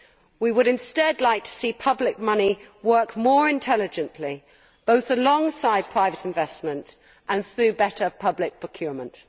We would instead like to see public money work more intelligently, both alongside private investment and through better public procurement.